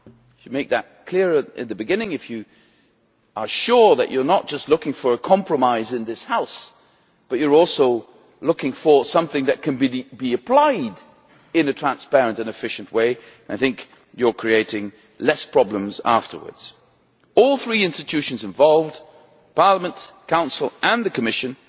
To make that clearer in the beginning, if you are sure that you are not just looking for a compromise in this House but you are also looking for something that can be applied in a transparent and efficient way, you will create fewer problems afterwards. All three institutions involved Parliament, Council and Commission